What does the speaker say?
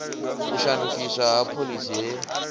u shandukiswa ha phoḽisi he